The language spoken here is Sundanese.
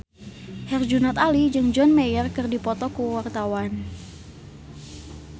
Herjunot Ali jeung John Mayer keur dipoto ku wartawan